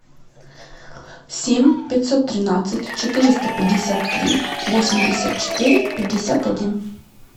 семь пятьсот тринадцать четыреста пятьдесят три восемьдесят четыре пятьдесят один